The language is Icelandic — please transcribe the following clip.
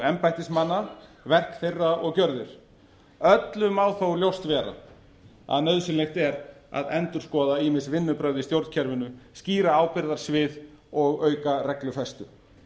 embættismanna verk þeirra og gjörðir öllum má þó ljóst vera að nauðsynlegt er að endurskoða ýmis vinnubrögð í stjórnkerfinu skýra ábyrgðarsvið og auka reglufestu